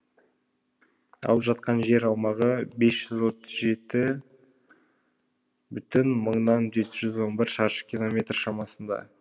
алып жатқан жер аумағы бес жүз отвз жеті мыңнан он бір шаршы километр шамасында